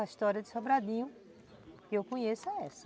A história de Sobradinho, que eu conheço, é essa.